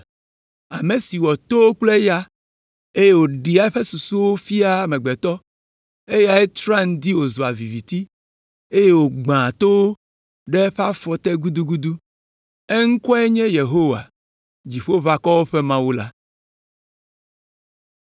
Ame si wɔ towo kple ya, eye wòɖea eƒe susuwo fiaa amegbetɔ, eyae trɔa ŋdi wòzua viviti, eye wògbãa towo ɖe eƒe afɔ te gudugudu. Eŋkɔe nye Yehowa, Dziƒoʋakɔwo ƒe Mawu la.